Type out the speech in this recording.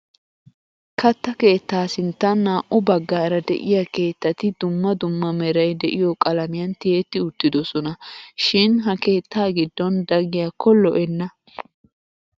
Katta keettaa sinttan naa"u baggaara de'iyaa keettati dumma dumma meray de'iyo qalamiyan tiyetti uttiddossona, shin ha keettaa giddon da giyakka lo'enna.